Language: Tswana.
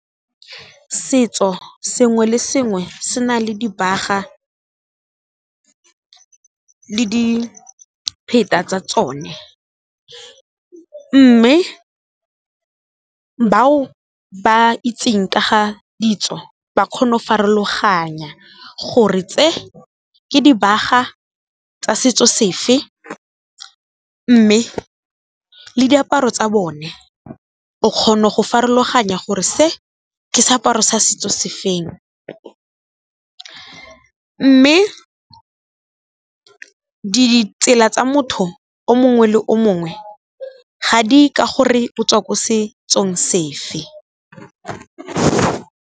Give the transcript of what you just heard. Setso sengwe le sengwe se na le dibaga, le dipheta tsa tsone mme bao ba itseng ka ga ditso ba kgona go farologanya gore tse ke dibaga tsa setso se fe, mme le diaparo tsa bone o kgona go farologanya gore se ke seaparo sa setso se feng. Mme ditsela tsa motho o mongwe le o mongwe ga di ye ka gore o tswa ko setsong se fe.